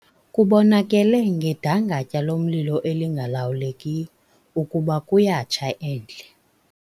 Kubonakele ngedangatya lomlilo elingalawulekiyo ukuba kuyatsha endle.